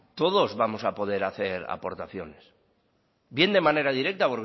todos vamos a poder hacer aportaciones bien de manera directa